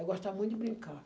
Eu gostava muito de brincar.